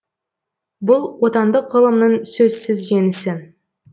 бұл отандық ғылымның сөзсіз жеңісі